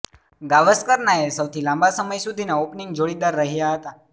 ગાવસકરના એ સૌથી લાંબા સમય સુધીના ઓપનિંગ જોડીદાર રહ્યા હતા